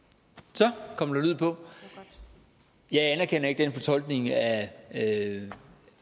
så kom der lyd på jeg anerkender ikke den fortolkning af af